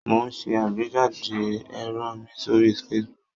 Mo ń ṣẹ àgbéjáde èrò mi sórí Facebook.